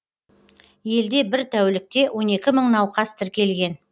елде бір тәулікте он екі мың науқас тіркелген